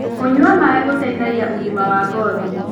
Kũnyua maĩ gũteĩthagĩa ũgima wa ngothĩ